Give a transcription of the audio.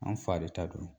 An fa de ta don